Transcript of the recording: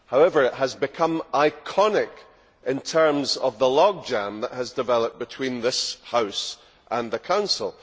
However, it has become iconic in terms of the log jam that has developed between this House and the Council.